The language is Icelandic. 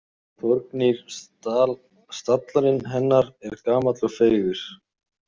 Og Þorgnýr stallarinn hennar er gamall og feigur.